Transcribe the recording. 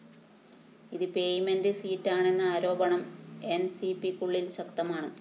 ഇത് പേയ്മെന്റ്‌ സീറ്റാണെന്ന ആരോപണം എന്‍സിപിക്കുള്ളില്‍ ശക്തമാണ്